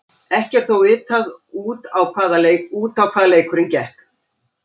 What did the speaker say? Ekki er þó vitað út á hvað leikurinn gekk.